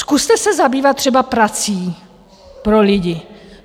Zkuste se zabývat třeba prací pro lidi.